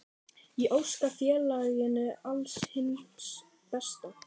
Ég óska félaginu alls hins besta.